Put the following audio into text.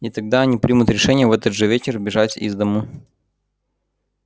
и тогда они примут решение в этот же вечер бежать из дому